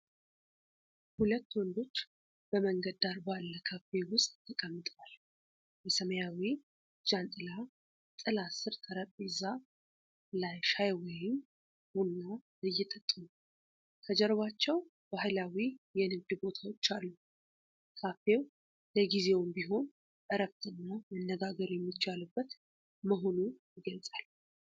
ሁለት ወንዶች በመንገድ ዳር ባለ ካፌ ውስጥ ተቀምጠዋል። በሰማያዊ ጃንጥላ ጥላ ስር ጠረጴዛ ላይ ሻይ ወይም ቡና እየጠጡ ነው። ከጀርባቸው ባህላዊ የንግድ ቦታዎች አሉ። ካፌው ለጊዜውም ቢሆን እረፍትና መነጋገር የሚቻልበት መሆኑን ይገልጻል።